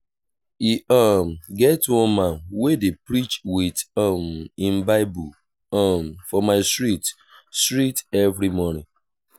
e um get one man wey dey preach wit um him bible um for my street street every morning.